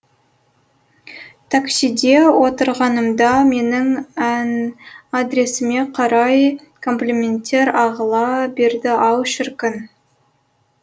таксиде отырғанымда менің адресіме қарай комплименттер ағыла берді ау шіркін